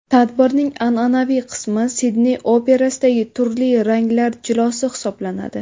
Tadbirning an’anaviy qismi Sidney operasidagi turli ranglar jilosi hisoblanadi.